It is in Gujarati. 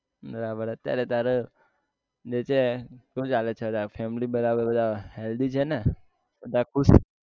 બરાબર અત્યારે તારે જે છે શું ચાલે છે અત્યારે family બરાબર બધા healthy ને બધા ખુશ